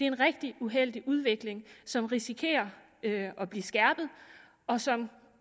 en rigtig uheldig udvikling som risikerer at blive skærpet og som